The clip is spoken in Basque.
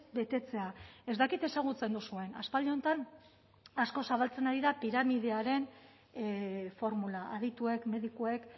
betetzea ez dakit ezagutzen duzuen aspaldi honetan asko zabaltzen ari da piramidearen formula adituek medikuek